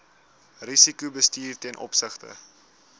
risikobestuur ten opsigte